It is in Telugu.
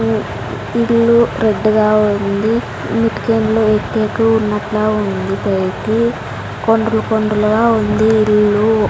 ఉ ఇల్లు పెద్దగా ఉంది అన్నిటికన్నా ఎత్తు ఎక్కువ ఉన్నట్లా ఉంది పైకి కొండలు కొండలుగా ఉంది ఇల్లు.